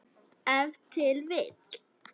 Ef til vill!